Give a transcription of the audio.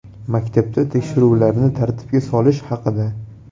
Maktablarda tekshiruvlarni tartibga solish haqida.